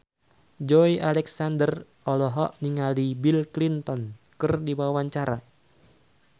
Joey Alexander olohok ningali Bill Clinton keur diwawancara